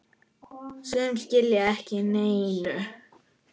Sum skila ekki neinu.